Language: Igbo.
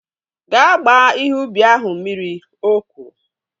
Gaa gbaa ihe ubi ahụ mmiri! O kwuru